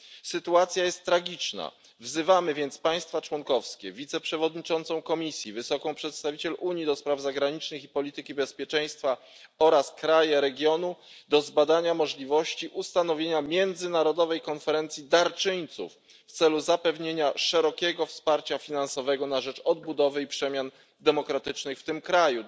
Sytuacja jest tragiczna, wzywamy więc państwa członkowskie, wiceprzewodniczącą Komisji wysoką przedstawiciel Unii do spraw zagranicznych i polityki bezpieczeństwa oraz kraje regionu do zbadania możliwości ustanowienia międzynarodowej konferencji darczyńców w celu zapewnienia szerokiego wsparcia finansowego na rzecz odbudowy i przemian demokratycznych w tym kraju.